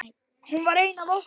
Hún var ein af okkur.